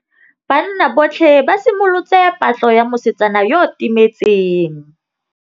Banna botlhê ba simolotse patlô ya mosetsana yo o timetseng.